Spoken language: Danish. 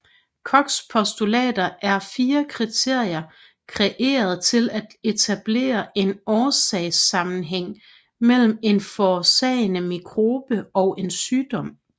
Kochs postulater er fire kriterier kreeret til at etablere en årsagssammenhæng mellem en forårsagende mikrobe og en sygdom